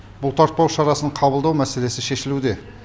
бұл тартпау шарасын қабылдау мәселесі шешілуде